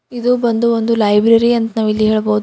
ಇದು ಬಂದು ಒಂದು ಲೈಬ್ರರಿ ಅಂತ ನಾವ್ ಇಲ್ಲಿ ಹೇಳಬಹುದು.